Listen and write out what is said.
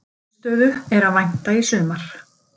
Niðurstöðu er að vænta í sumar